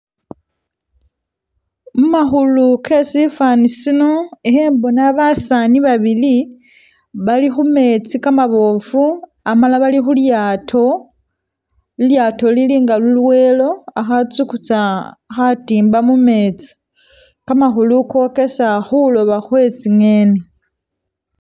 Mumakhulu ke sifani sino ikhembona basaani babili bali khumetsi kamabofu amala bali khulyato, lilyato lili nga lulwelo akha tsukutsa khatimba mumetsi kamakhulu kokesa khuloba khwe tsi'ngeni